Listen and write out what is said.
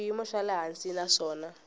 xiyimo xa le hansi naswona